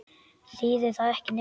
Þýðir það ekki neitt?